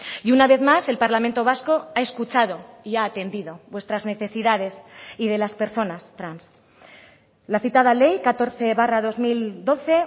y una vez más el parlamento vasco ha escuchado y ha atendido vuestras necesidades y de las personas trans la citada ley catorce barra dos mil doce